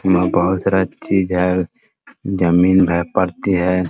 बहुत सारा चीज है जमीन है परती है ।